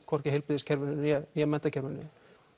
hvorki í heilbrigðiskerfinu né menntakerfinu